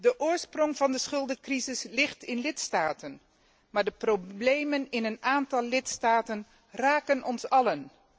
De oorsprong van de schuldencrisis ligt in lidstaten, maar de problemen in een aantal lidstaten raken ons allen.